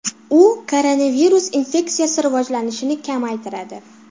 U koronavirus infeksiyasi rivojlanishini kamaytiradi.